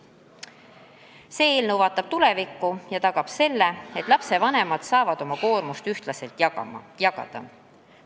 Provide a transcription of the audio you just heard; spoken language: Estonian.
See eelnõu vaatab tulevikku ja tagab selle, et lastevanemad saavad oma koormust ühtlaselt jagada.